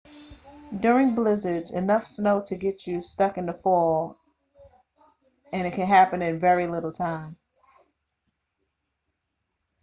during blizzards enough snow to get you stuck can fall in very little time